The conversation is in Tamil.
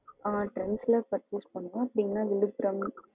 ஆ trends ல purchase பண்ணுவோம் இல்லன்னா விழுப்புரம்,